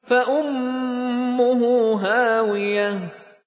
فَأُمُّهُ هَاوِيَةٌ